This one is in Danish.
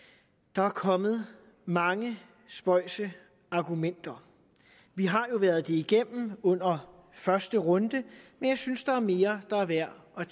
der er kommet mange spøjse argumenter vi har jo været det igennem under første runde men jeg synes der er mere der er værd at